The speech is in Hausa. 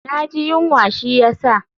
Na ji yunwa shi ya sa.